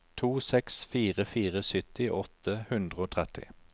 to seks fire fire sytti åtte hundre og tretti